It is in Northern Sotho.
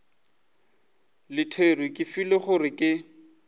luthere ke filwe gore ke